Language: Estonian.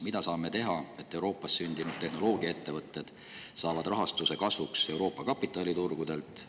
Mida saame teha, et Euroopa tehnoloogiaettevõtted saaksid kasvuks rahastuse Euroopa kapitaliturgudelt?